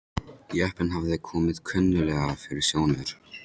Jeppinn hafði komið kunnuglega fyrir sjónir.